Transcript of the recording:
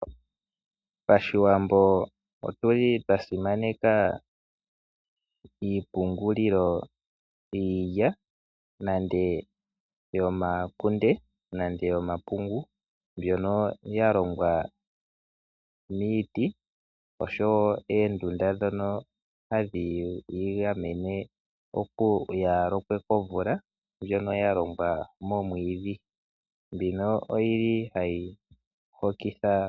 Aawambo oyasimaneka iipungulilo yiilya, yomakunde noshowo omapungu mbyono yalongwa miiti oshowo oondunda ndhono hadhiyi gamene komvula ndjono yalongwa momwiidhi.